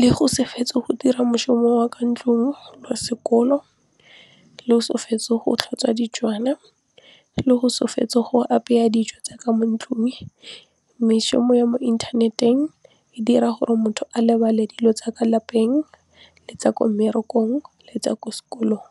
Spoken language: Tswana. le go se fetse go dira moshomo wa ka ntlong le wa sekolo, le go se fetse go tlhatswa le go se fetse go apeya dijo tsa ka mo ntlung mešomo ya mo inthaneteng e dira gore motho a lebale dilo tsa ka lapeng le tsa ko mmerekong le tsa ko sekolong.